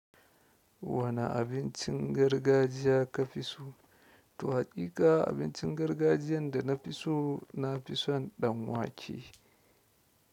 Wane abincin gargajiya ka fi so? To haƙiƙa abincin gargajiyan da na fi so, nafi son ɗanwake.